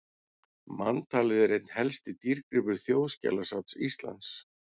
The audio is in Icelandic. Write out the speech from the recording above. Manntalið er einn helsti dýrgripur Þjóðskjalasafns Íslands.